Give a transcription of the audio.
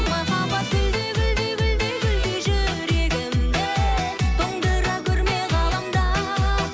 махаббат гүлдей гүлдей гүлдей гүлдей жүрегімді тоңдыра көрме ғаламда